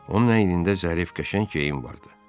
Onun əynində zərif, qəşəng geyim vardı.